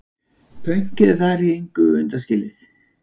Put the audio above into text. Pönkið er þar í engu undanskilið.